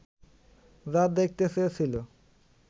যা দেখতে চেয়েছিলো